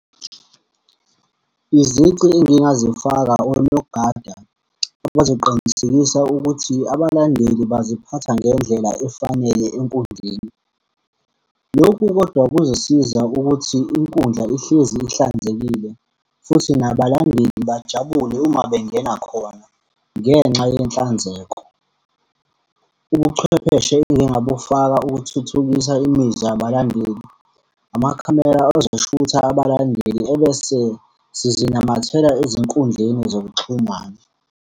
Izici engingazifaka, onogada bazoqinisekisa ukuthi abalandeli baziphatha ngendlela efanele enkundleni. Lokhu kodwa kuzosiza ukuthi inkundla ihlezi ihlanzekile, futhi nabalandeli bajabule uma bengena khona, ngenxa yenhlanzeko. Ubuchwepheshe engingabufaka ukuthuthukisa imizwa yabalandeli, amakhamera azoshutha abalandeli ebese sizinamathela ezinkundleni zokuxhumana.